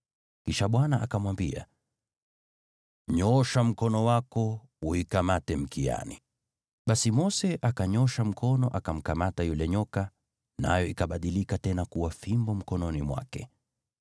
Kisha Bwana akamwambia, “Nyoosha mkono wako umkamate mkiani.” Basi Mose akanyoosha mkono akamkamata yule nyoka, naye akabadilika tena kuwa fimbo mkononi mwake.